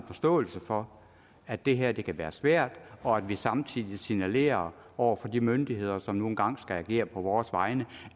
forståelse for at det her kan være svært og at vi samtidig signalerer over for de myndigheder som nu engang skal agere på vores vegne